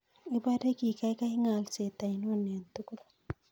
Ibare kigaigai ng'alseet ainon en tugul